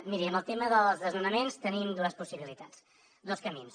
miri amb el tema dels desnonaments tenim dues possibilitats dos camins